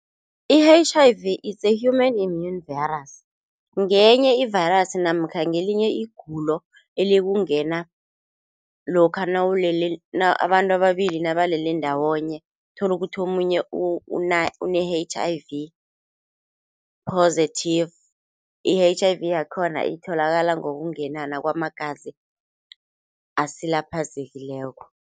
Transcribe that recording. I-H_I_V it's a Human Immune Virus ngenye i-virus namkha ngelinye igulo elikungena lokha nawulele abantu ababili nabalele ndawonye tholukuthi omunye une-H_I_V positive, i-H_I_V yakhona itholakala ngokungenana kwamagazi asilaphazekileko.